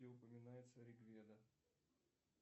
где упоминается ригведа